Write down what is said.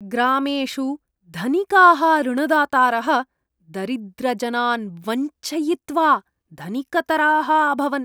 ग्रामेषु धनिकाः ऋणदातारः दरिद्रजनान् वञ्चयित्वा धनिकतराः अभवन्।